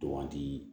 Baganti